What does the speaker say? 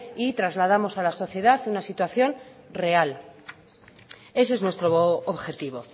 y trasladamos a la sociedad una situación real ese es nuestro objetivo